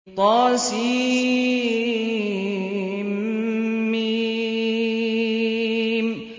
طسم